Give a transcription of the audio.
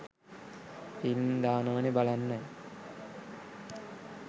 film දානවනෙ බලන්නයි